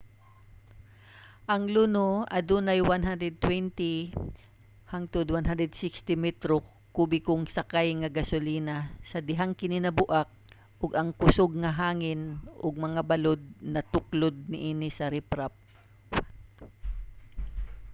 ang luno adunay 120-160 metro kubikong sakay nga gasolina sa dihang kini nabuak ug ang kusog nga hangin ug mga balud natuklod niini sa riprap